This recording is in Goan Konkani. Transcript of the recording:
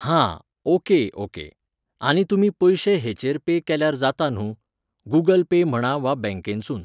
हां,okay, okay आनी तुमी पयशे हेचेर पे केल्यार जाता न्हू! गुगल पे म्हणा वा बॅंकेनसून.